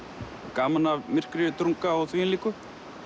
gaman af myrkri drunga og þvíumlíku